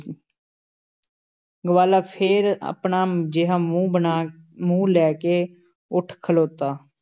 ਗਵਾਲਾ ਫੇਰ ਆਪਣਾ ਜਿਹਾ ਮੂੰਹ ਬਣਾ, ਮੂੰਹ ਲੈ ਕੇ ਉੱਠ ਖਲੋਤਾ।